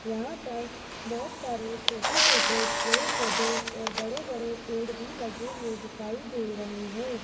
यहां पर बहोत सारे छोटे छोटे पेड़ पौधे और बड़े बड़े पेड़ भी लगे हुए दिखाई दे रहे हैं।